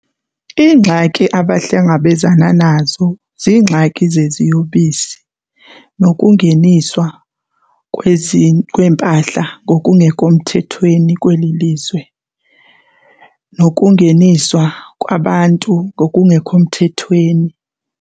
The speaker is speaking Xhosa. Iingxaki abahlangabezana nazo ziingxaki zeziyobisi nokungeniswa kweempahla ngokungekho mthethweni kweli lizwe nokungeniswa kwabantu ngokungekho mthethweni.